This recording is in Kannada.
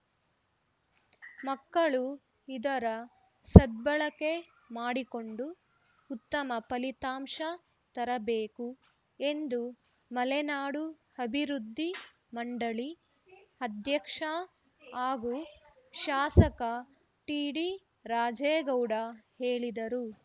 ಮಕ್ಕಳು ಇದರ ಸದ್ಬಳಕೆ ಮಾಡಿಕೊಂಡು ಉತ್ತಮ ಫಲಿತಾಂಶ ತರಬೇಕು ಎಂದು ಮಲೆನಾಡು ಅಭಿವೃದ್ಧಿ ಮಂಡಳಿ ಅಧ್ಯಕ್ಷ ಹಾಗೂ ಶಾಸಕ ಟಿಡಿ ರಾಜೇಗೌಡ ಹೇಳಿದರು